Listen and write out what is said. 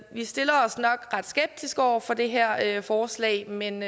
vi stiller os nok ret skeptiske over for det her forslag men